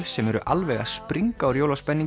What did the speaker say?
sem eru alveg að springa úr